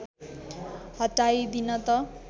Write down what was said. हटाइदिन त